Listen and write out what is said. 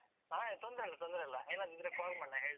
ಹಾ ತೊಂದ್ರೆಯಿಲ್ಲ ತೊಂದ್ರೆಯಿಲ್ಲ. ಏನಾದ್ರು call ಮಾಡು ನಾನ್ ಹೇಳ್ತೇನೆ.